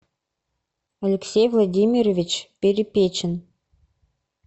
алексей владимирович перепечин